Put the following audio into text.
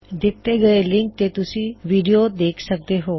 ਦਿੱਤੇ ਹੋਏ ਲਿੰਕ ਤੇ ਤੁਸੀਂ ਵੀਡਿਓ ਦੇਖ ਸਕਦੇ ਹੋ